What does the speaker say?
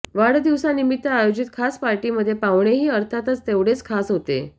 वाढदिवसानिमित्त आयोजित खास पार्टीमध्ये पाहुणेही अर्थातच तेवढेच खास होते